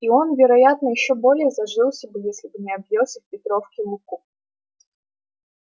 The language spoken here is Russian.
и он вероятно ещё более зажился бы если бы не объелся в петровки луку